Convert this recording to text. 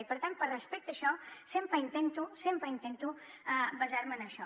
i per tant per respecte a això sempre intento sempre intento basar me en això